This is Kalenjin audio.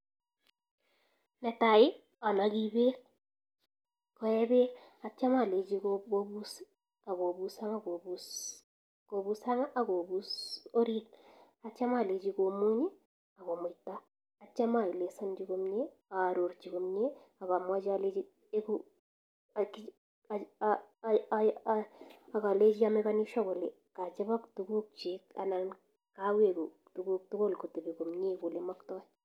Ne tai, anagi peek koe bek. Atiem alenchi kopus orit, ago muny, agalenchi komuita. Atiem aelezanchi komie, arorchi komie, alechi ameken sure kachapak tuguk chik.